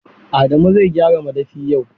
Adamu zai gyara madafi yau.